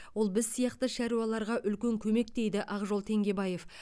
ол біз сияқты шаруаларға үлкен көмек дейді ақжол теңгебаев